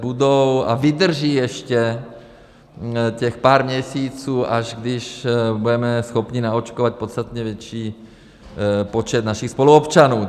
Budou a vydrží ještě těch pár měsíců, až když budeme schopni naočkovat podstatně větší počet našich spoluobčanů.